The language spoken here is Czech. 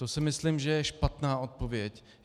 To si myslím, že je špatná odpověď.